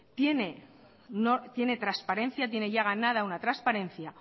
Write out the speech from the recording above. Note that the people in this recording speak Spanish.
tiene transparencia tiene ya ganada una transparencia